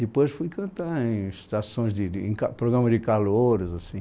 Depois fui cantar em estações de de, em ca programas de calouros, assim.